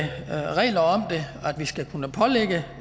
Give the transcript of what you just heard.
vi skal kunne pålægge